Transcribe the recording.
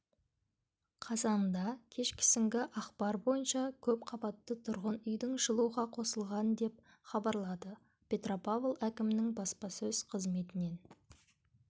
қазанда кешкісінгі ақпар бойынша көп қабатты тұрғын үйдің жылуға қосылған деп хабарлады петропавл әкімінің баспасөз қызметінен